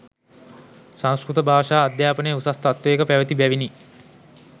සංස්කෘත භාෂා අධ්‍යාපනය උසස් තත්ත්වයක පැවති බැවිනි.